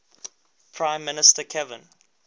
prime minister kevin